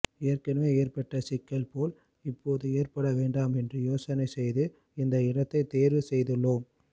ஏற்கனவே ஏற்பட்ட சிக்கல் போல் இப்போது ஏற்பட வேண்டாம் என்று யோசனை செய்து இந்த இடத்தை தேர்வு செய்துள்ளோம்